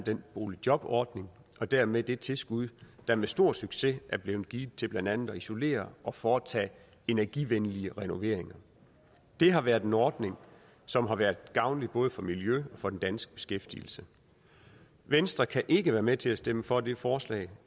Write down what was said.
boligjobordningen og dermed det tilskud der med stor succes er blevet givet til blandt andet at isolere og foretage energivenlige renoveringer det har været en ordning som har været gavnlig både for miljøet for den danske beskæftigelse venstre kan ikke være med til at stemme for det forslag